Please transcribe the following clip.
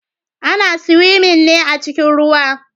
Ana siwimin ne a cikin ruwa.